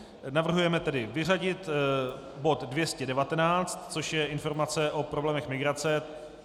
Navrhujeme tedy vyřadit bod 219, což je informace o problémech migrace.